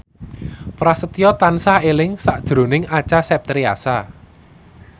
Prasetyo tansah eling sakjroning Acha Septriasa